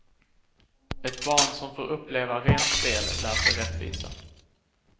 Ett barn som får uppleva rent spel lär sig rättvisa.